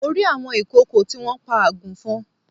Mo rí àwọn ìkòkò tí wọ́n pa àgùnfọn